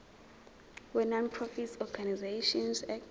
wenonprofit organisations act